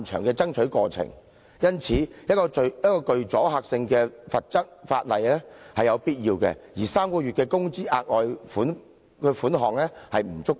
因此，制定具阻嚇性的罰則是有必要的，而3個月工資的額外款項並不足夠。